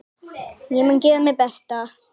Ég mun gera mitt besta.